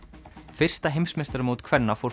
fyrsta heimsmeistaramót kvenna fór